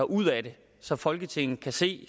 ud af det så folketinget kan se